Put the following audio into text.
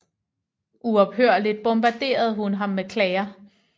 Uophørligt bombarderede hun ham med klager